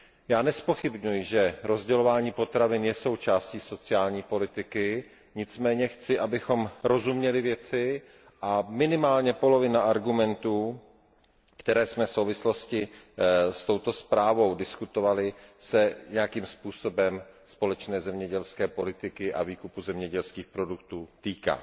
Já nezpochybňuji, že rozdělování potravin je součástí sociální politiky, nicméně chci, abychom rozuměli věci, a minimálně polovina argumentů, které jsme v souvislosti s touto zprávou diskutovali, se nějakým způsobem společné zemědělské politiky a výkupu zemědělských produktů týká.